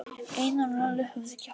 Einar og Lalli höfðu kjaftað.